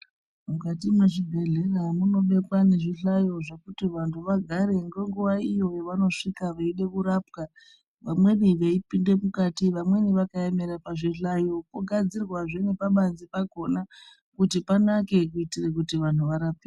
Mukati mwezvibhendlera mune zvihlayo zvekuti vantu vagare ngenguwa iyo yavanosvika veida kurapwa. Vamweni veipinda mukati, vamweni veihlaya vakaemera pazvihlayo. Pogadzirwazve nepabanze pakhona kuti panake.